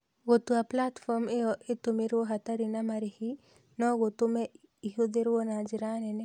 Gũtua platform ĩyo ĩtũmĩrwo hatarĩ na marĩhi no gũtũme ĩhũthĩrũo na njĩra nene.